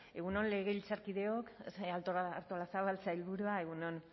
egun on legebiltzarkideok artolazabal sailburua egun on